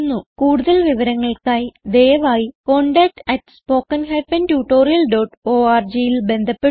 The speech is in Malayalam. കൂടുതൽ വിവരങ്ങൾക്കായി ദയവായി contactspoken tutorialorgൽ ബന്ധപ്പെടുക